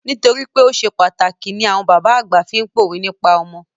Nítorípé o ṣe pàtàkì ni bàbá àgbà fi pá òwe nípa ọmọ.